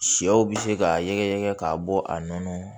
Sɛw bɛ se k'a yɛrɛyɛ k'a bɔ a nɔnɔ